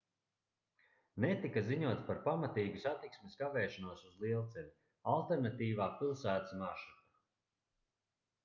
netika ziņots par pamatīgu satiksmes kavēšanos uz lielceļa alternatīvā pilsētas maršruta